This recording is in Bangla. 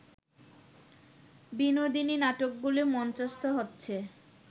বিনোদিনী নাটকগুলো মঞ্চস্থ হচ্ছে